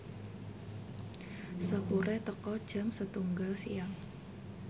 sepure teka jam setunggal siang